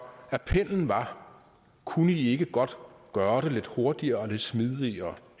appellen var kunne i ikke godt gøre det lidt hurtigere og lidt smidigere